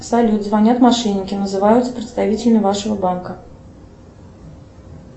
салют звонят мошенники называются представителями вашего банка